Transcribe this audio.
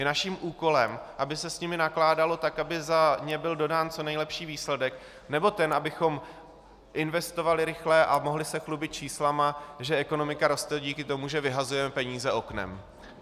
Je naším úkolem, aby se s nimi nakládalo tak, aby za ně byl dodán co nejlepší výsledek, nebo ten, abychom investovali rychle a mohli se chlubit čísly, že ekonomika roste díky tomu, že vyhazujeme peníze oknem?